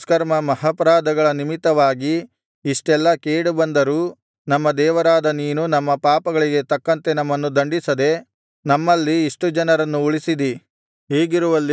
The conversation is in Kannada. ನಮ್ಮ ದುಷ್ಕರ್ಮ ಮಹಾಪರಾಧಗಳ ನಿಮಿತ್ತವಾಗಿ ಇಷ್ಟೆಲ್ಲಾ ಕೇಡು ಬಂದರೂ ನಮ್ಮ ದೇವರಾದ ನೀನು ನಮ್ಮ ಪಾಪಗಳಿಗೆ ತಕ್ಕಂತೆ ನಮ್ಮನ್ನು ದಂಡಿಸದೆ ನಮ್ಮಲ್ಲಿ ಇಷ್ಟು ಜನರನ್ನು ಉಳಿಸಿದಿ